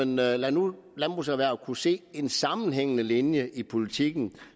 lade landbruget kunne se en sammenhængende linje i politikken